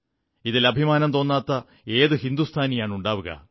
ഇതിൽ അഭിമാനം തോന്നാത്ത ഏതു ഹിന്ദുസ്ഥാനിയാണുണ്ടാവുക